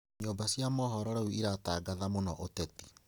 Nyumba cia mohoro rĩu iratangatha mũno ũteti